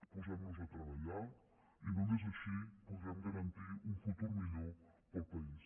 posem nos a treballar i només així podrem garantir un futur millor per al país